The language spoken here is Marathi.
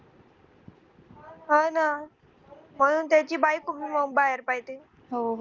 हा ना म्हणून त्याची बायको बाहेर पडली